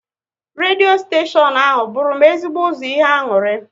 Redio steshion ahụ bụru m ezigbo ụzọ ihe aṅụrị